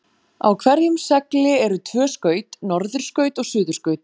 Á hverjum segli eru tvö skaut, norðurskaut og suðurskaut.